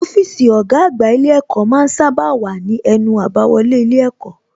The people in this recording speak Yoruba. Ọ́fíìsì ọ̀gá àgbà ilé ẹ̀kọ́ ma ń sábà wà ní ẹnu àbáwọlé ilé ẹ̀kọ́